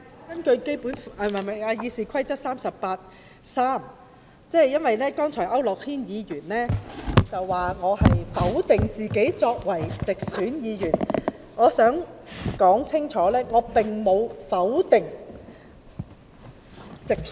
我根據《議事規則》第383條作出澄清，因為區諾軒議員剛才指我否定自己作為直選議員的價值。